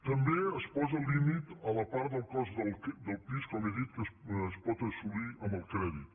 també es posa límit a la part del cost del pis com he dit que es pot assolir amb el crèdit